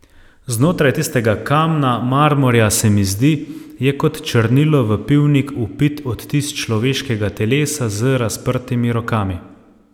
Znotraj tistega kamna, marmorja, se mi zdi, je kot črnilo v pivnik vpit odtis človeškega telesa z razprtimi rokami.